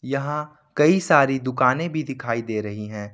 यहां कई सारी दुकानें भी दिखाई दे रही हैं।